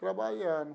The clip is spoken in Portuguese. Trabalhando.